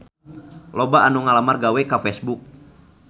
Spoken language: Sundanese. Loba anu ngalamar gawe ka Facebook